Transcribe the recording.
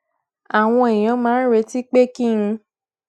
àwọn èèyàn máa ń retí pé kí n